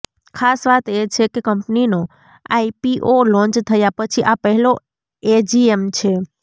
ખાસ વાત એ છે કે કંપનીનો આઈપીઓ લોન્ચ થયા પછી આ પહેલો એજીએમ છે